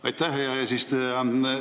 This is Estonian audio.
Aitäh, hea eesistuja!